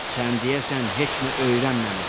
Sən deyəsən heç nə öyrənməmisən.